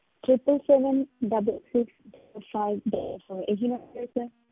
Triple seven double six five double four ਇਹੀ number ਹੈ sir